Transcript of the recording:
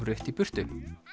rutt í burtu